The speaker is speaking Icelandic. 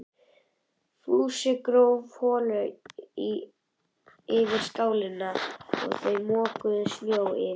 Fúsi gróf holu fyrir skálina og þau mokuðu snjó yfir.